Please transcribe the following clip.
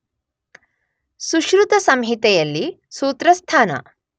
ಸುಶ್ರುತ ಸಂಹಿತೆಯಲ್ಲಿ ಸೂತ್ರಸ್ಥಾನ